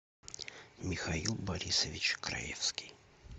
михаил борисович краевский